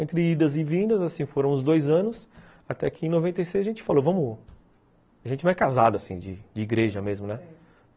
Entre idas e vindas, assim, foram uns dois anos, até que em noventa e seis a gente falou, vamos... a gente não é casado, assim, de igreja mesmo, né?